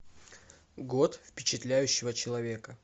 год впечатляющего человека